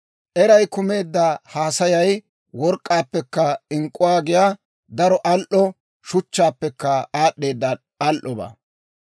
Eray kumeedda haasayay work'k'aappekka ink'k'uwaa giyaa daro al"o shuchchaappekka aad'd'eeda al"obaa.